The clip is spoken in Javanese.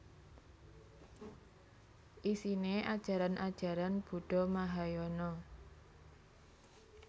Isine ajaran ajaran Buddha Mahayana